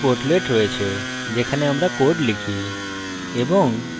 এখানে editor portlet রয়েছে যেখানে আমরা code লিখি